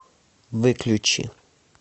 выключи